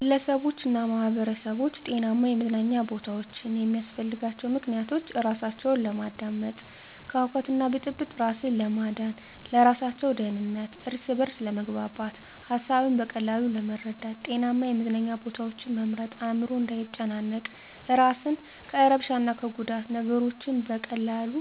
ግለሰቦችና ማህበረሰቦች ጤናማ የመዝናኛ ቦታዎችን የሚያስፈልጋቸው ምክንያቶች:-እራሳቸውን ለማዳመጥ፤ ከሁከትና ብጥብጥ እራስን ለማዳን፤ ለእራሳቸው ደህንነት፤ እርስ በርስ ለመግባባት፤ ሀሳብን በቀላሉ ለመረዳት። ጤናማ የመዝናኛ ቦታዎችን መምረጥ አዕምሮ እንዳይጨናነቅ፤ እራስን ከእርብሻ እና ከጉዳት፤ ነገሮችን በቀላሉ